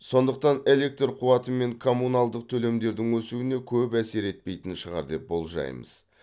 сондықтан электр қуаты мен коммуналдық төлемдердің өсуіне көп әсер етпейтін шығар деп болжаймыз